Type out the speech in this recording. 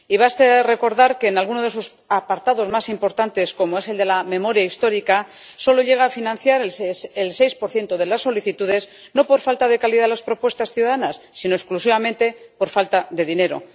Basta recordar que, en alguno de sus apartados más importantes, como es el de la memoria histórica, solo llega a financiar el 6 de las solicitudes, no por falta de calidad de las propuestas ciudadanas, sino exclusivamente por falta de dinero.